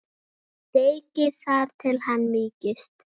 Steikið þar til hann mýkist.